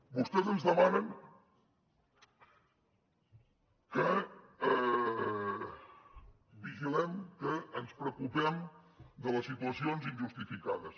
vostès ens demanen que vigilem que ens preocupem de les situacions injustificades